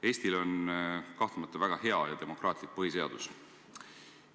Eestil on kahtlemata väga hea ja demokraatlik põhiseadus.